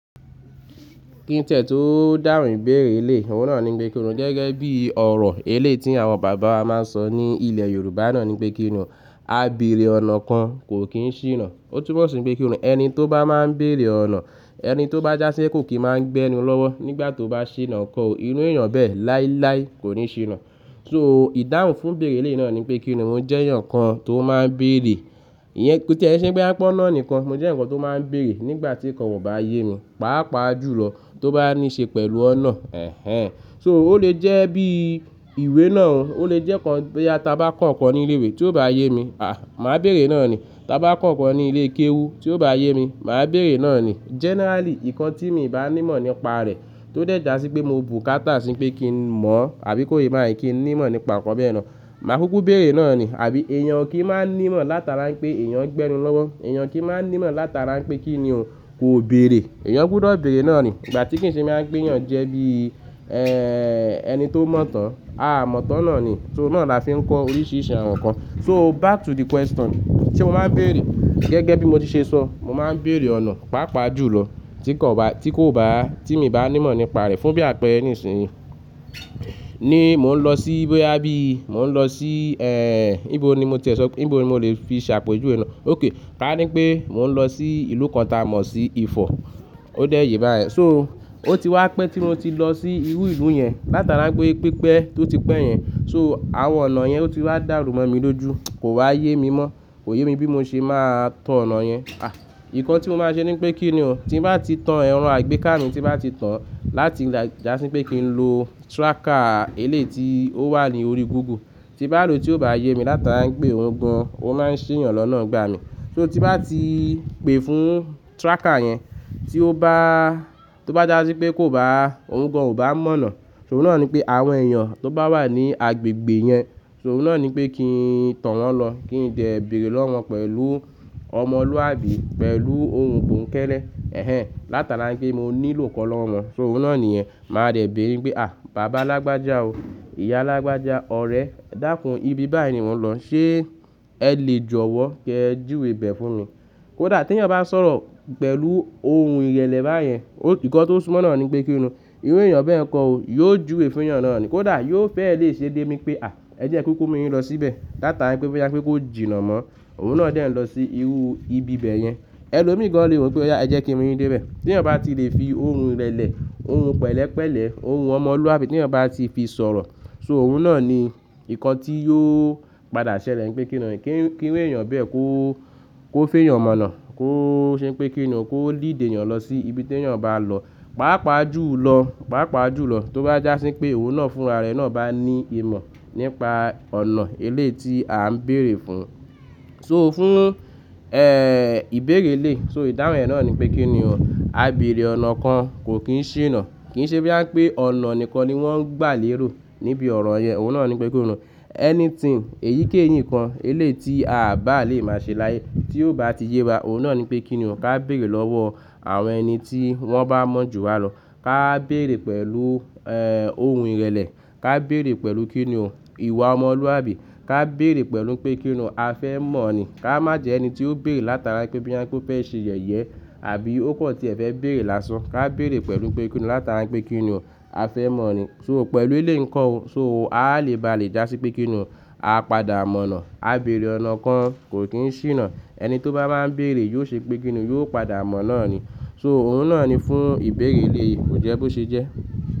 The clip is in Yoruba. Kí n tiẹ̀ tó dáhùn ìbéèrè eleyi, òun náà ni pé kíni ò gẹ́gẹ́ bí ọ̀rọ̀ eléyi ti àwọn bàbá wa máa ń sọ ní ilẹ̀ Yorùbá náà ni pé kíni ò, "A bèèrè ọ̀nà kan kò kí n ṣìnà." Ó túbọ̀ ṣé pé kíni ò ẹni tó bá máa ń bèèrè ọ̀nà, ẹni tó bá jásí kò kí máa ń gbẹ́ ni lọ́wọ́ nígbà tó bá ṣìnà nkọ́ o, irú èèyàn bẹ́ẹ̀ láíláí kò ní ṣìnà. So ìdáhùn fún ìbéèrè eleyi náà ni pé kíni ò mo jẹ́ èèyàn kan tó máa ń bèèrè. Iyẹn kí n ṣe bí a pọ́náà nìkan, mo jẹ́ ǹkan tó máa ń bèèrè nígbà tí nǹkan ò bá yé mi, pàápàá jùlọ tó bá ní ṣe pẹ̀lú ọ̀nà, ẹ̀hen. So ó lè jẹ́ bí ìwé náà, ó lè jẹ́ ǹkan boya ta bá kọ nkan ní ilé ìwé tí ó bá yé mi, à, màá bèèrè náà ni. Tí a bá kọ nnkan ní ilé kéwú tí ó bá yé mi, màá bèèrè náà ni. Generally, ǹkan tí mi bá ní ìmọ̀ nípa rẹ̀ tó dẹ̀ já sí pé mo bùkátà sí pé kí n mọ̀, àbí kó yé bayen ń kí n ní ìmọ̀ nípa ǹkan bẹ́ẹ̀ náà, màá kúkú bèèrè náà ni. Àbí èèyàn kí í máa ń ní ìmọ̀ látara pé èèyàn ń gbẹ́ nu lọ́wọ́, èèyàn kí í máa ń ní ìmọ̀ látara pé kíni ò kò béèrè, èèyàn gbudo bèèrè náà ni. Ìgbà tí kì í ṣe mi á pè é yàn jẹ́ bí, ẹ́ẹ́, ẹni tó mọ̀ tán, a mọ̀ tán náà ni. So náà là fi ń kọ oríṣiríṣi àwọn ǹkan. So back to the question, tí mo máa ń bèèrè, gẹ́gẹ́ bí mo ti ṣe sọ, mo máa ń bèèrè ọ̀nà, pàápàá jùlọ tí kò bá, tí kò bá, tí mi bá ní ìmọ̀ nípa rẹ̀ fún bí àpẹẹrẹ nísinsìnyí. Ni mò ń lọ sí boya bi, mò ń lọ sí, ẹ́ẹ́, níbo ni mo ti e sọ, níbo ni mo lè fi ṣàpèjúye náà? Okay, ká ní pé mò ń lọ sí ìlú kan táa mọ̀ sí Ifọ̀. Ó dẹ̀ yé bá yẹn. So ó ti wá pé tí mo ti lọ sí irú ìlú yẹn látara pé pípẹ́ tó ti pẹ́ yẹn, so àwọn ọ̀nà yẹn ó ti wá dàrú mọ́ mi lójú, kò wá yé mi mọ́. Kò yé mi bí mo ṣe máa tó ọ̀nà yẹn. À, ǹkan tí mo máa ṣe ni pé kíni ò tí bá ti tán ẹran àgbéká mi, tí bá ti tán láti jásí pé kí n lo tracker eléyi ti ó wà ní orí Google. Tí bá lò tí ó bá yé mi látara pé òun gan, ó máa ń ṣe èèyàn lọ́nà ngba mi. So tí bá ti pè fún tracker yẹn tí ó bá, tí ó bá jásí pé kó bá, òun gan ò bá mọ̀nà. So òun náà ni pé àwọn èèyàn tó bá wà ní agbègbè yẹn, so òun náà ni pé kí n tọ wọ́n lọ, kí n dẹ́ ẹ bèèrè lọ́wọ́ pẹ̀lú ọmọlúwàbí, pẹ̀lú ohun bònkẹ́lẹ́, ẹ̀hen látara pé mo nílò nkan lọ́wọ́ wọn. So òun náà ni yẹ́n, màá rẹ bèèrè pé, "À, bàbá alágbája o, ìyá alágbája, ọ̀rẹ́, dàkún ibi báyìí ni mò ń lọ, ṣe ẹ lè jọ̀wọ́ kẹ́ júwe bẹ̀ fún mi?" Kódà tí ẹ̀yàn bá sọ̀rọ̀ pẹ̀lú ohun ìrẹlẹ bá yẹn, ǹkan tó súmọ́ náà ni pé kíni ò irú èèyàn bẹ́ẹ̀ kan o, yóò júwe fún èèyàn náà ni. Kódà yóò fẹ́ lè ṣe dé mi pé, "À, ẹ jẹ́ n kúkú mú yin lọ síbẹ̀ látara pé bí a pé kó jìnnà mọ́." Òun náà dẹ̀ ń lọ sí irú ibi bẹ̀ yẹn. Ẹ lò mí gan lè ro pé, "Óyà ẹ jẹ́ kí mú mi dé bẹ̀." Tí ẹ̀yàn bá ti lè fi ohun ìrẹlẹ, ohun pẹ̀lẹ́pẹ̀lẹ́, ohun ọmọlúwàbí tí ẹ̀yàn bá ti fi sọ̀rọ̀, so òun náà ni ǹkan tí yóò padà ṣẹlẹ̀ ni pé kíni ò kí irú èèyàn bẹ́ẹ̀ kó, kó fẹ́ èèyàn mọ̀nà, kó ṣe pé kíni òun kó lead èèyàn lọ sí ibi tí èèyàn bá lọ, pàápàá jùlọ, pàápàá jùlọ tó bá jásí pé òun náà fún ara rẹ̀ náà bá ní ìmọ̀ nípa ọ̀nà eléyi tí a ń bèèrè fún. So fún, ẹ́ẹ́, ìbéèrè eleyi, so ìdáhùn ẹ̀ náà ni pé kíni ò, "A bèèrè ọ̀nà kan kò kí n ṣìnà." Kì í ṣe bí a pé ọ̀nà nìkan ni wọ́n ń gbà léèró níbi ọ̀rọ̀ yen, òun náà ni pé kíni ò anything, èyíkéyìí ǹkan elé tí a bá lè má ṣe láyé tí ó bá ti yé wa, òun náà ni pé kíni òun ká bèèrè lọ́wọ́ àwọn ẹni tí wọ́n bá mọ̀ jù wa lọ. Ká bèèrè pẹ̀lú, ẹ́ẹ́, ohun ìrẹlẹ, ká bèèrè pẹ̀lú kíni òun ìwà ọmọlúwàbí, ká bèèrè pẹ̀lú pé kíni òun a fẹ́ mọ̀ ni. Ká má jẹ ẹni tí ó bèèrè látara pé bí a pé ó fẹ́ ṣe yẹ̀yẹ́ àbí ó kan tí ẹ fẹ́ bèèrè lásán. Ká bèèrè pẹ̀lú pé kíni ò látara pé kíni ò a fẹ́ mọ̀ ni. So pẹ̀lú eléyi ǹkan o, so, a lè bá lè já sí pé kíni ò a padà mọ̀nà. "A bèèrè ọ̀nà kan kò kí n ṣìnà." Ẹni tó bá máa ń bèèrè yóò ṣe pé kíni òun yóò padà mọ̀ náà ni. So òun náà ni fún ìbéèrè éleyi, kò jẹ́ bó ṣe jẹ́.